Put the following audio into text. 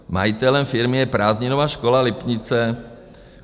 Majitelem firmy je Prázdninová škola Lipnice.